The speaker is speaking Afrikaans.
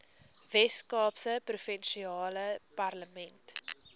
weskaapse provinsiale parlement